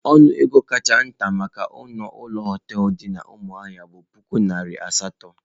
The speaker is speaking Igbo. Ọnụ ego kacha nta maka ọnụ ụlọ hoteelu dị na Umuahia bụ puku naira asatọ.